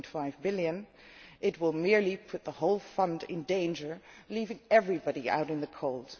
3.5 billion, it will merely put the whole fund in danger, leaving everybody out in the cold.